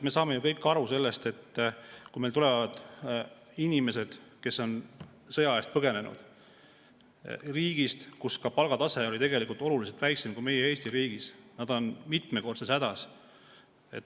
Me saame ju kõik aru, et kui meile tulevad inimesed, kes on sõja eest põgenenud riigist, kus palgatase oli tegelikult oluliselt madalam kui Eestis, siis nad on mitmekordses hädas.